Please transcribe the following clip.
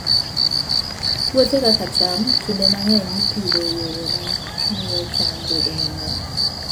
Puothe kaka cham, kinde mang'eny ipidho e yore ma miyo cham bedo mang'eny.